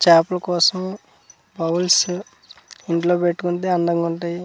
చాపల కోసం బౌలస్ ఇంట్లో పెట్టుకుంటే అందంగా ఉంటాయి .]